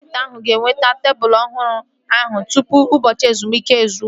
Kapịnta ahụ ga-eweta tebụl ọhụrụ ahụ tụpụ ụbọchị ezumike izu